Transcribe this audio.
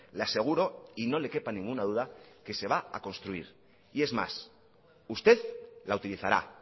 le aseguro y no le quepa ninguna duda que se va a construir y es más usted la utilizará